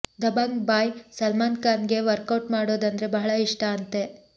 Dabang boy Salman Khan ಗೆ workout ಮಾಡೋದಂದ್ರೆ ಬಹಳ ಇಷ್ಟ ಅಂತೆ